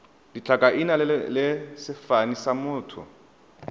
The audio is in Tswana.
ditlhakaina le sefane sa motho